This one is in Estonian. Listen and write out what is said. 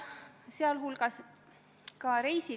Hea ettekandja!